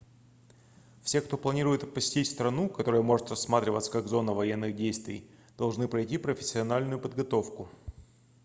все кто планирует посетить страну которая может рассматриваться как зона военных действий должны пройти профессиональную подготовку